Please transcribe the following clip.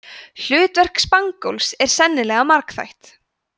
hlutverk spangóls er sennilega margþætt